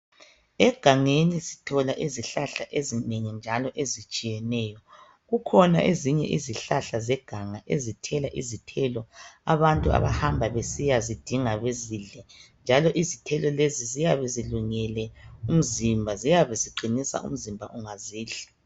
Egangeni sithola izihlahla ezinengi njalo ezitshiyeneyo. Kukhona ezinye izihahla zeganga ezithela izithelo abantu abahamba besiyazidinga bezidle njalo isithelo lesi siyabe silungele umziba ziyabe ziqinisa umzimba ungazidla.